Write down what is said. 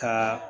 Ka